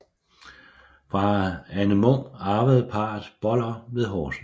Fra Anne Munk arvede parret Boller ved Horsens